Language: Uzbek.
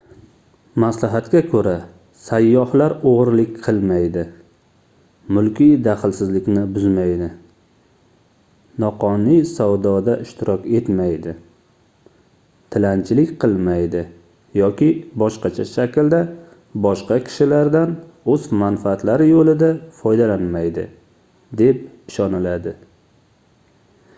maslahatga koʻra sayyohlar oʻgʻirlik qilmaydi mulkiy daxlsizlikni buzmaydi noqonuniy savdoda ishtirok etmaydi tilanchilik qilmaydi yoki boshqacha shaklda boshqa kishilardan oʻz manfaatlari yoʻlida foydalanmaydi deb ishoniladi